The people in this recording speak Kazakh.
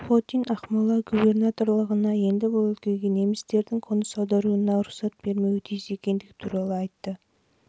жылы сухотин ақмола губернаторлығына енді бұл өлкеге немістердің қоныс аударуына рұқсат бермеуі тиіс екендігі туралы айтты